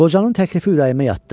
Qocanın təklifi ürəyimə yatdı.